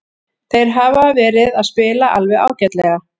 Þeir hafa verið að spila alveg ágætlega.